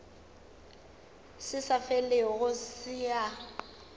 se sa felego se a